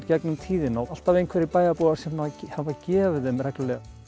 gegnum tíðina og alltaf einhverjir bæjarbúar sem hafa gefið þeim reglulega